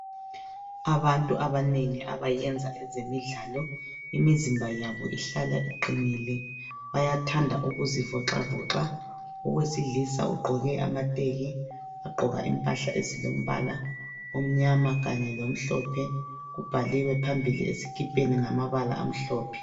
Abantu abanengi abayenza ezemidlalo imizimba yabo ihlala iqinile bayathanda ukuzivoxavoxa. Owesilisa ugqoke amateki wagqoka impahla ezilombala omnyama kanye lomhlophe kubhaliwe phambili esikipeni ngamabala amhlophe.